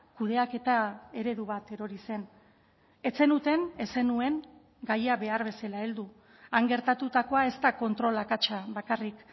kudeaketa eredu bat erori zen ez zenuten ez zenuen gaia behar bezala heldu han gertatutakoa ez da kontrol akatsa bakarrik